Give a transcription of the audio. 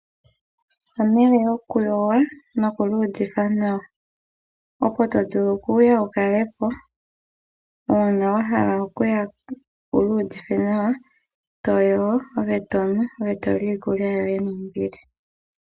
Ehala lyoku yoga noku iyuvitha nawa. Opo tovulu okuya ukale po, uuna wahala okuya wiiyuvithe nawa, toyogo, tonu, ngoye toli iikulya yoye nombili.